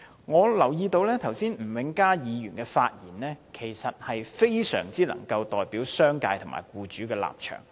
我留意到吳永嘉議員剛才的發言，其實非常能夠代表商界和僱主的立場。